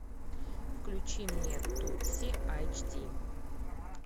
включи мне тутси айч ди